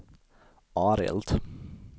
Arild